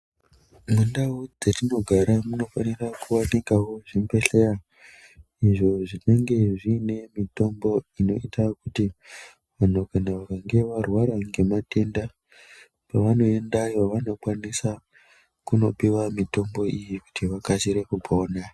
Mundao dzatinogara munofanira kuti muite zvibhedhlera izvo zvinonga zviine mitombo inoita kuti vanhu kana vakange varwara ngematenda pavanoendayo vanokwanisa kunopiwa mitombo iyi kuti vakasire kupona .